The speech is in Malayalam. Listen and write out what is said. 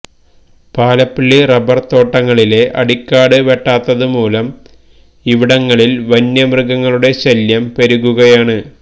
പാലപ്പിള്ളി റബ്ബര് തോട്ടങ്ങളിലെ അടിക്കാട് വെട്ടാത്തതുമൂലം ഇവിടങ്ങളില് വന്യമൃഗങ്ങളുടെ ശല്യം പെരുകുകയാണ്